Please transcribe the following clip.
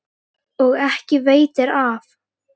Og ekki veitir af.